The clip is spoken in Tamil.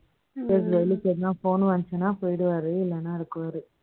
Phone வந்துச்சுன்னா, போயிடுவாரு. இல்லைன்னா, இருக்குவாரு